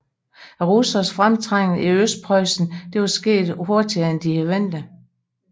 Russernes fremtrængen i Østpreussen var sket hurtigere end ventet